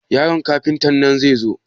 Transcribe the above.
Yaron Kafuntan zai zo?